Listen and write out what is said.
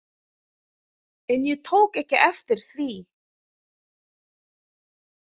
En ég tók ekki eftir því.